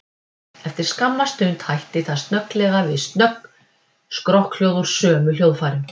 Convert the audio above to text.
Eftir skamma stund hætti það snögglega við snögg strokkhljóð úr sömu hljóðfærum.